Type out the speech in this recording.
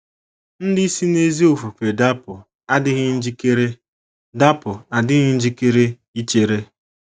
ndị si n’ezi ofufe dapụ adịghị njikere dapụ adịghị njikere ichere.